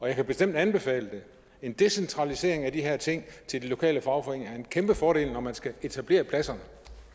jeg kan bestemt anbefale en decentralisering af de her ting til de lokale fagforeninger det er en kæmpe fordel når man skal etablere pladserne